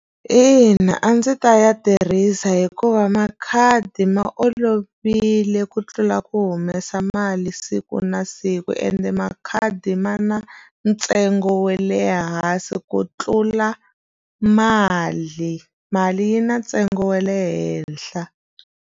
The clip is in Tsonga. Ina a ndzi ta ya tirhisa hikuva makhadi ma olovile ku tlula ku humesa mali siku na siku ende makhadi ma na ntsengo wa le hansi ku tlula mali mali yi na ntsengo wa le henhla.